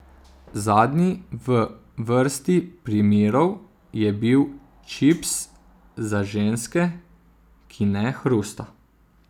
Zadnji v vrsti primerov je bil čips za ženske, ki ne hrusta.